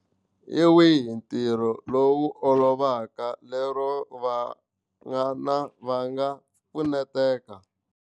Hi wihi ntirho lowu olovaka lero vana va nga pfuneteka.